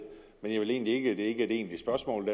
er ikke et egentligt spørgsmål